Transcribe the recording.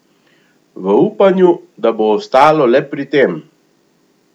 V upanju, da bo ostalo le pri tem.